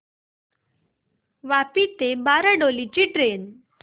वापी ते बारडोली ची ट्रेन